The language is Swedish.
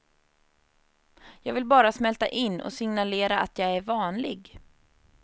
Jag vill bara smälta in och signalera att jag är vanlig.